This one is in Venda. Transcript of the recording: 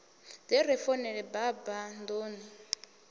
ḓe ri founele baba nḓuni